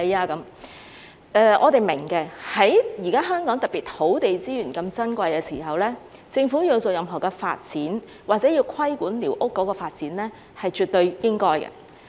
這方面的論據，我們是明白的，特別是現時香港土地資源那麼珍貴的時候，政府要進行任何發展，或者要規管寮屋的發展，是絕對應該的。